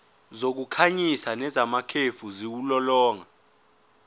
zokukhanyisa nezamakhefu ziwulolonga